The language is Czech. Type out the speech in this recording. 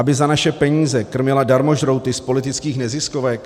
Aby za naše peníze krmila darmožrouty z politických neziskovek?